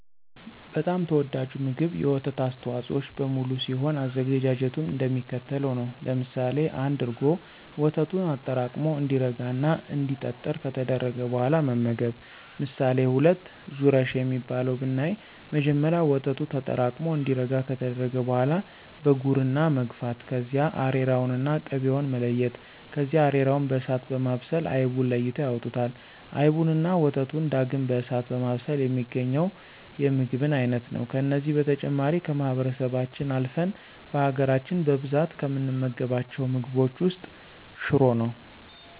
በጣም ተወዳጁ ምግብ የወተት አስተዋፆኦዎች በሙሉ ሲሆን አዘገጃጀቱም እንደሚከተለው ነው። ለምሳሌ1፦ እርጎ፦ ወተቱን አጠራቅሞ እንዲረጋ እና እንዲጠጥር ከተደረገ በኋላ መመገብ። ምሳሌ2፦ ዙረሽ የሚባለው ብናይ መጀመሪያ ወተቱ ተጠራቅሙ እንዲረጋ ከተደረገ በኋላ በጉርና መግፋት ከዚያ አሬራውንና ቅቤውን መለያየት ከዚያ አሬራውን በእሳት በማብሰል አይቡን ለይተው ያወጡታል። አይቡንና ወተቱን ዳግም በእሳት በማብሰል የሚገኘው የምግብን አይነት ነው። ከነዚህ በተጨማሪ ከማህበረሰባችን አልፍን በሀገራች በብዛት ከምንመገባቸው ምግቦች ውስጥ ሽሮ ነው።